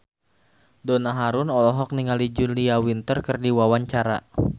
Donna Harun olohok ningali Julia Winter keur diwawancara